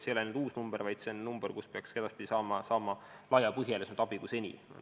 See ei ole uus number, vaid see on number, millele helistades peaks edaspidi saama laiema põhjaga abi kui seni.